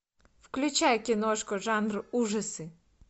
включай киношку жанр ужасы